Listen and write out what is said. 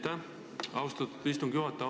Aitäh, austatud istungi juhataja!